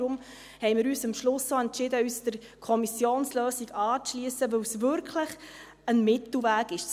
Deshalb haben wir uns am Schluss entschieden, uns der Kommissionslösung anzuschliessen, weil sie wirklich ein Mittelweg ist.